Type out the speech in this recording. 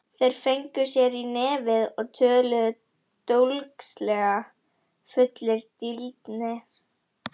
Þeir fengu sér í nefið og töluðu dólgslega, fullir drýldni.